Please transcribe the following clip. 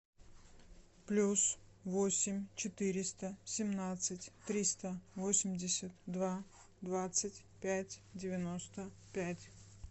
плюс восемь четыреста семнадцать триста восемьдесят два двадцать пять девяносто пять